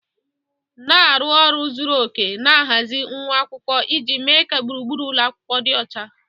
Na-arụ ọrụ zuru oke na-ahazi nwa akwụkwọ iji mee ka gburugburu ụlọ akwụkwọ dị ọcha.